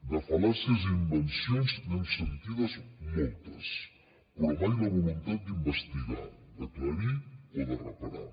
de fal·làcies i invencions n’hem sentides moltes però mai la voluntat d’investigar d’aclarir o de reparar